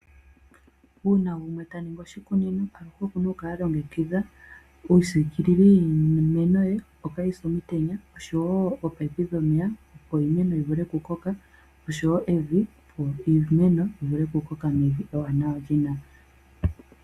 Uuna gumwe ta ningi oshikunino aluhe oku na ku kala alongekidha iisikililo yiimeno ye opo kaayi se omutenya oshowo oopaipi dhomeya, opo iimeno yi vule oku koka oshowo evi, opo iimeno yi vule oku koka mevi ewanawa.